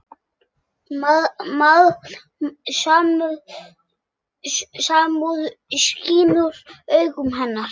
Samúð skín úr augum hennar.